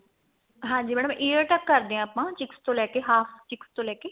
ਹਾਂਜੀ madam ear ਤੱਕ ਕਰਦੇ ਆ ਆਪਾਂ cheeks ਤੋਂ ਲੈ ਕੇ half cheeks ਤੋਂ ਲੈ ਕੇ